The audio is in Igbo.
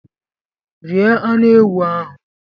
Rie anụ ewụ ahụ!